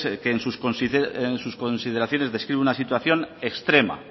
que en sus consideraciones describe una situación extrema